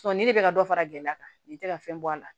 ni de bɛ ka dɔ fara gɛlɛya kan nin tɛ ka fɛn bɔ a la